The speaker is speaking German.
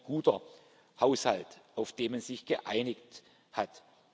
Ein guter Haushalt, auf den man sich geeinigt hat!